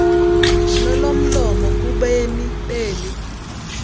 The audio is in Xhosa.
nolomlomo kubemi beli